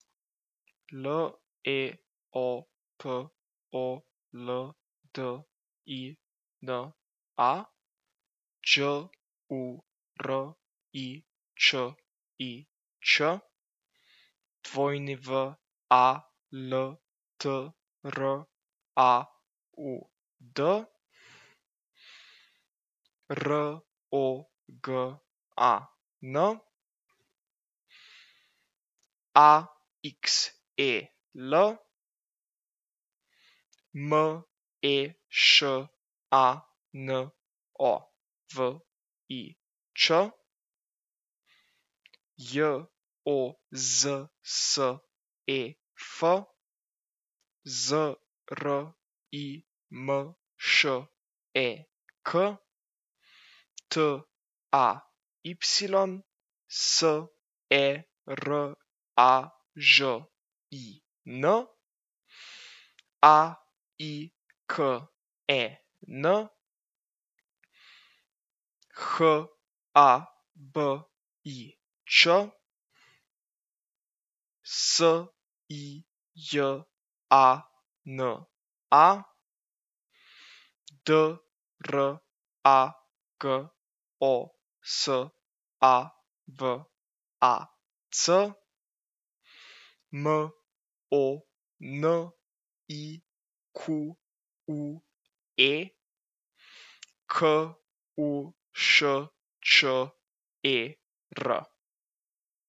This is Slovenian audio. L E O P O L D I N A, Đ U R I Č I Ć; W A L T R A U D, R O G A N; A X E L, M E Š A N O V I Ć; J O Z S E F, Z R I M Š E K; T A Y, S E R A Ž I N; A I K E N, H A B I Č; S I J A N A, D R A G O S A V A C; M O N I Q U E, K U Š Č E R.